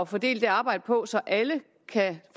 fordele det arbejde på så alle kan